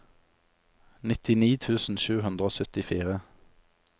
nittini tusen sju hundre og syttifire